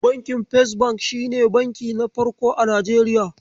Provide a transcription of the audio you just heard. Bankin First bank shine banki na farko a Nijeriya.